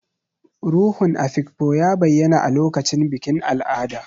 Ruhun Afikpo ya bayyana a lokacin bikin al'ada.